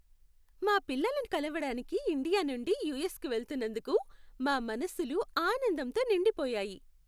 మా పిల్లలను కలవడానికి ఇండియా నుండి యూఎస్కు వెళ్తున్నందుకు, మా మనసులు ఆనందంతో నిండి పోయాయి.